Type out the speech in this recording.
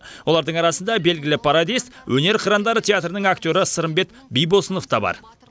олардың арасында белгілі пародист өнер қырандары театрының актері сырымбет бибосынов та бар